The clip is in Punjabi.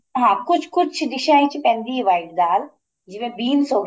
ਹਾਂ ਕੁੱਝ ਕੁੱਝ ਡਿਸ਼ਾ ਵਿੱਚ ਪੈਂਦੀ ਏ white ਦਾਲ ਜਿਵੇਂ beans ਹੋ ਗਏ